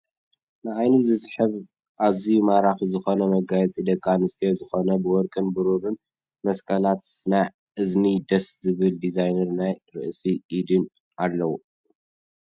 ንዓይኒ ዝስሕብ ኣዝዩ ማራኪ ዝኮነ መጋየፂ ደቂ ኣንስትዮ ዝኮነ ብወርቅን ብሩሩን መስቀላትን ናይ እዝኒ ደስ ዝብል ዲዛይን ናይ ርእሲን ኢድን ኣለዉ።